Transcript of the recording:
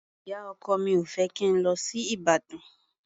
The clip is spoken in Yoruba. Ìyá-ọkọ mi ò fẹ́ kí n lọ sí Ìbàdàn.